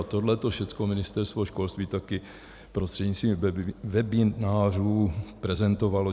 A tohle všecko Ministerstvo školství taky prostřednictvím webinářů prezentovalo.